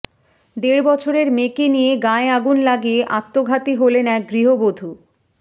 দেড় বছরের মেয়েকে নিয়ে গায়ে আগুন লাগিয়ে আত্মঘাতী হলেন এক গৃহবধূ